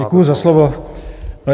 Děkuji za slovo.